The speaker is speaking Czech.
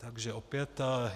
Takže opět...